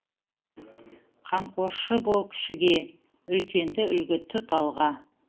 қамқоршы бол кішіге үлкенді үлгі тұт алға